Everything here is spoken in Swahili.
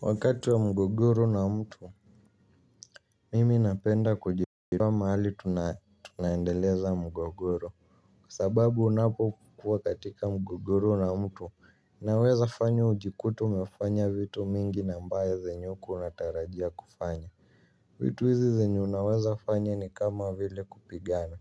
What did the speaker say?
Wakati wa mgogoro na mtu mimi napenda kujibiwa mahali tunae tunaendeleza mgogoru kwa sababu unapo kuwa katika mgogoro na mtu unaweza fanya ujikute umefanya vitu mingi na ambaye zenye hukuwa unatarajia kufanya vitu hizi zenye unaweza fanyoa ni kama vile kupigana